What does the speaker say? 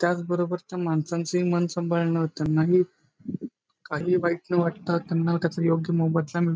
त्याच बरोबर त्या माणसांच ही मन सांभाळण त्यांनाही काहीही वाईट न वाटता त्यांना त्याचा योग्य मोबदला मिळवू--